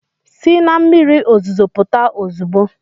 Si na mmiri ozuzo pụta ozugbo!